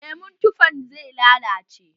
Lemon tufan zai lalace.